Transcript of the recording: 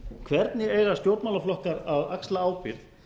hvernig eiga stjórnmálaflokkar að axla ábyrgð